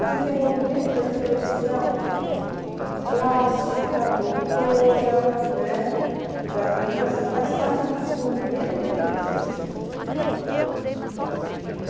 O desenvolvimento da expressão plástica, motora, né, da criança faz parte do desenvolvimento da inteligência.